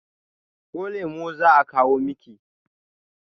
ko lemo za a kawo Miki?